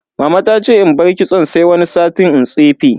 Mama ta ce in bar kitson sai wani sati in tsefe.